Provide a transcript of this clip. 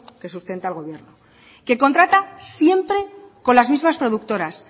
que sustenta al gobierno que contrata siempre con las mismas productoras